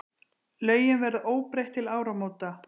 Lögin verða óbreytt til áramóta.